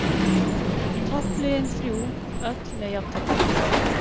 Toppliðin þrjú öll með jafntefli